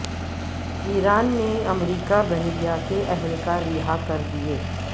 ایران نے امریکی بحریہ کے اہلکار رہا کر دیے